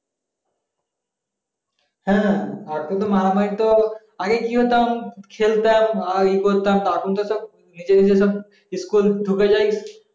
হ্যাঁ এখন তো মারামারি তো আগে কি হতো খেলতাম আরি করতাম এখনকার সব নিজে নিজে সব school ঢুকে যায়